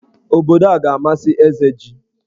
Obodo a ga-amasị Ezeji.